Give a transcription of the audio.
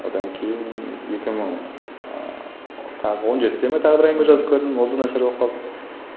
одан кейін екі мың ыыы тағы он жетіде ме тағы бір әңгіме жазып көрдім ол да нашар болып қалды